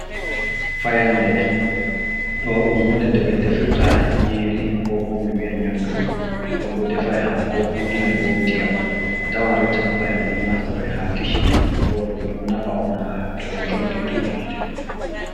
fayande. do dum hunde nde be defirta nyeri ko bo mi wi'a nyamdu nden bo defai hako wulnai bo diyam a tawa reta fu fayande don naftora ha kishin nden bo ɗum don nafa on ha to be njongi dow hiite